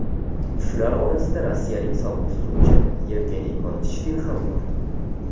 Shular orasida rossiyalik sobiq suzuvchi Yevgeniy Korotishkin ham bor.